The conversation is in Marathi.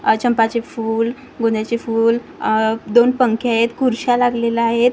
आह चंम्पाचे फूल गोंदयाचे फूल आह दोन पंखे आहेत खुर्च्या लागलेल्या आहेत .